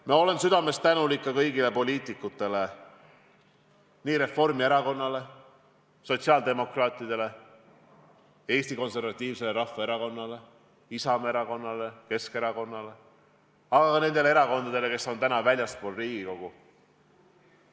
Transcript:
Ma olen südamest tänulik ka kõigile poliitikutele, nii Reformierakonnale, sotsiaaldemokraatidele, Eesti Konservatiivsele Rahvaerakonnale, Isamaa Erakonnale ja Keskerakonnale kui ka nendele erakondadele, keda täna Riigikogus ei ole.